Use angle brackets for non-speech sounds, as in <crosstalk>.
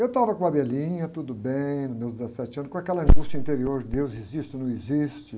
Eu estava com a, <unintelligible> tudo bem, nos meus dezessete anos, com aquela angústia interior, Deus existe ou não existe.